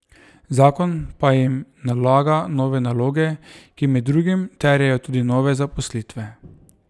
Zakon pa jim nalaga nove naloge, ki med drugim terjajo tudi nove zaposlitve.